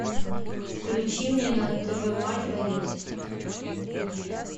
включи мне на тв матч боец